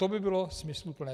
To by bylo smysluplné.